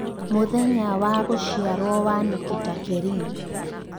mũthenya wa gũcĩarwo wa Nikita Kering